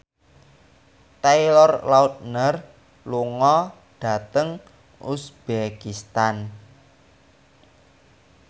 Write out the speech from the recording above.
Taylor Lautner lunga dhateng uzbekistan